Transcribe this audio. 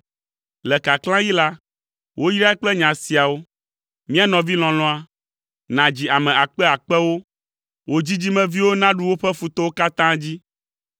Le kaklãɣi la, woyrae kple nya siawo: “Mía nɔvi lɔlɔ̃a, nadzi ame akpe akpewo wò dzidzimeviwo naɖu woƒe futɔwo katã dzi.”